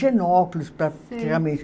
praticamente.